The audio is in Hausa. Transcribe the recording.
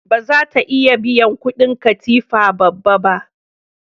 Ba za ta iya biyan kudin katifar babba ba.